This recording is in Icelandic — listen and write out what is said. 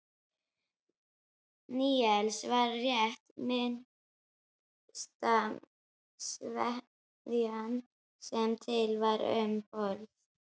Níelsi var rétt minnsta sveðjan sem til var um borð.